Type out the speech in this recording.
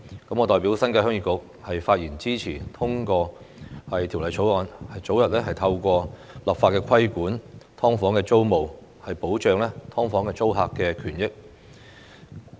我代表新界鄉議局發言支持通過《條例草案》，早日透過立法規管"劏房"租務，保障"劏房"租客的權益。